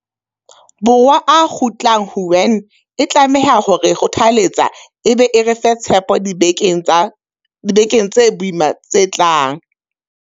Borwa a kgutlang Wuhan e tlameha ho re kgothatsa e be e re fe tshepo dibekeng tse boima tse tlang.